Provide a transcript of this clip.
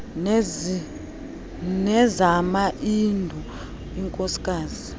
nezama hindu inkosikazi